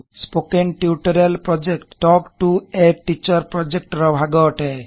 spoken tutorial project talk to a teacher project ର ଭାଗ ଅଟେ